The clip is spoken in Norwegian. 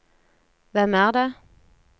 hvem er det